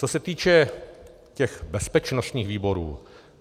Co se týče těch bezpečnostních výborů.